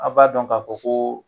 A b'a dɔn ka fɔ ko